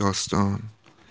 то что